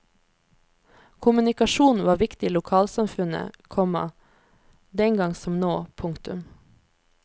Kommunikasjon var viktig i lokalsamfunnet, komma den gang som nå. punktum